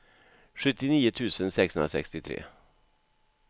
sjuttionio tusen sexhundrasextiotre